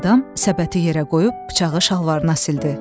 Adam səbəti yerə qoyub bıçağı şalvarına sildi.